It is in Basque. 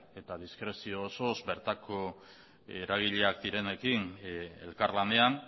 eta diskrezio osoz bertako eragileak direnekin elkarlanean